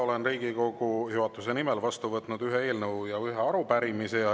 Olen Riigikogu juhatuse nimel vastu võtnud ühe eelnõu ja ühe arupärimise.